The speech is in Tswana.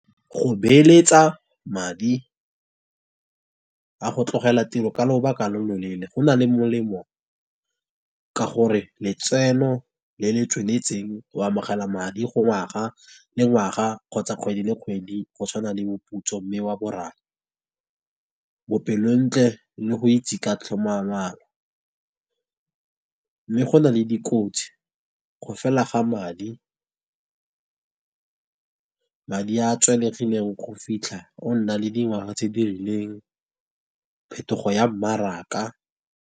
Go beeletsa madi a go tlogela tiro ka lobaka lo lo leele, go na le molemo ka gore letseno le le tsweletseng go amogela madi go ngwaga le ngwaga kgotsa kgwedi le kgwedi go tshwana le moputso mme wa boraro, bopelontle le go itse ka . Mme go na le dikotsi go fela ga madi, madi a tswalegileng go fitlha o nna le dingwaga tse di rileng, phetogo ya mmaraka.